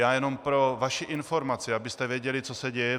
Já jen pro vaši informaci, abyste věděli, co se děje.